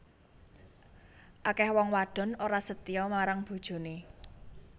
Akeh wong wadon ora setya marang bojone